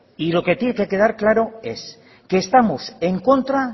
y lo que tiene que quedar claro es que estamos en contra